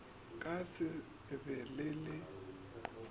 ka se be le le